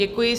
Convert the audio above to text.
Děkuji.